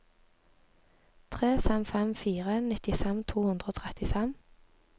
tre fem fem fire nittifem to hundre og trettifem